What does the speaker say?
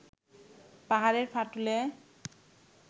পাহাড়ের ফাটলে